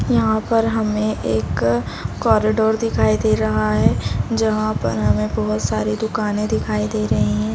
यहाँ पर हमें एक कोरिडोरे दिखाई दे रहा है जहां पर हमें बोहोत सारा दुकाने दिखाई दे रही है।